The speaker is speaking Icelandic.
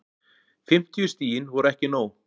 Fimmtíu stigin voru ekki nóg